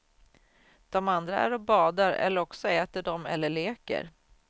Dom andra är och badar, eller också äter dom eller leker.